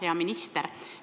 Hea minister!